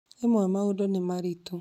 Rĩmwe maũndũ nĩ maritũ